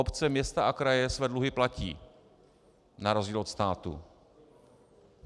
Obce, města a kraje své dluhy platí na rozdíl od státu.